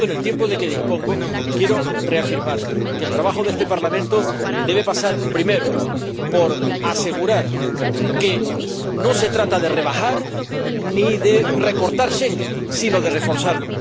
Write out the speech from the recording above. Por tanto, en el tiempo de que dispongo, quiero reafirmar que el trabajo de este Parlamento debe pasar primero por asegurar que no se trata de rebajar ni de recortar Schengen, sino de reforzarlo.